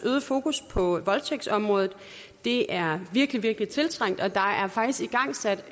øgede fokus på voldtægtsområdet det er virkelig virkelig tiltrængt og der er faktisk igangsat